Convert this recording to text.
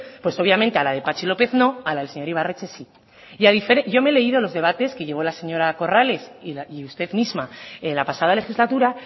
pues obviamente a la de patxi lópez no a la del señor ibarretxe sí yo me he leído los debates que llevó la señora corrales y usted misma la pasada legislatura